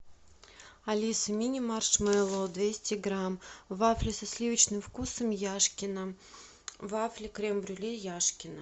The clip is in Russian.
алиса мини маршмеллоу двести грамм вафли со сливочным вкусом яшкино вафли крем брюле яшкино